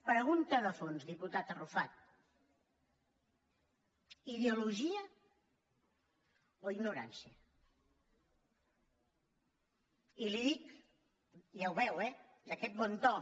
pregunta de fons diputat arrufat ideologia o ignorància i li ho dic ja ho veu eh d’aquest bon to